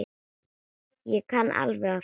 Ég kann alveg á þetta.